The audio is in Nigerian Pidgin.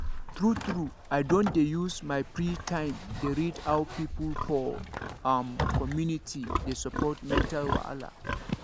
true true i don dey use my free time dey read how people for um community dey support mental wahala.